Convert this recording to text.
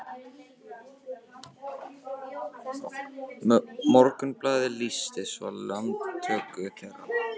Morgunblaðið lýsti svo landtöku þeirra